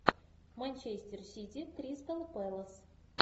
манчестер сити кристал пэлас